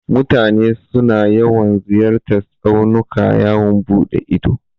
Mutane suna yawan ziyartan tsaunuka yawon buɗe ido.